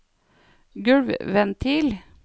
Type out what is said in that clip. gulvventil